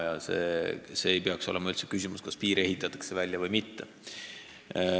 Ja see ei saa üldse olla küsimus, kas piir ehitatakse välja või mitte.